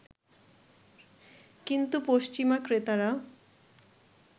কিন্তু পশ্চিমা ক্রেতারা